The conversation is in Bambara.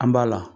An b'a la